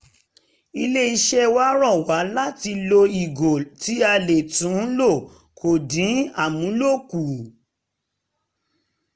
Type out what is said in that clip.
ilé-iṣẹ́ wa rọ wá um láti lo ìgò um tí a lè tún lò kó dín amúlò kù